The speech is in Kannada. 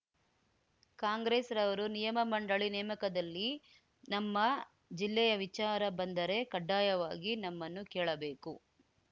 ಕಾಂಗ್ರೆಸ್‌ರವರು ನಿಗಮಮಂಡಳಿ ನೇಮಕದಲ್ಲಿ ನಮ್ಮ ಜಿಲ್ಲೆಯ ವಿಚಾರ ಬಂದರೆ ಕಡ್ಡಾಯವಾಗಿ ನಮ್ಮನ್ನು ಕೇಳಬೇಕು